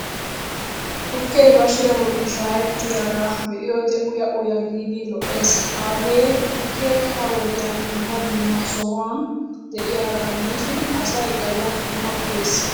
Tukkee bashiya bolli shha'ettiyaagaa be'iyoode uya uya giidi lo'es. Hagee tukkee ha'i wodiyan dumma dumma sohuwan de'iyaagaa gidishin asay galla qammi uyees.